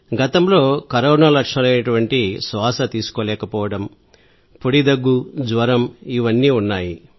గతంలో కరోనా లక్షణాలైన శ్వాస తీసుకోలేకపోవడం పొడి దగ్గు జ్వరం ఇవన్నీ ఉన్నాయి